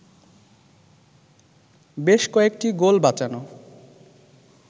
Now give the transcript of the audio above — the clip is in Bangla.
বেশ কয়েকটি গোল বাঁচানো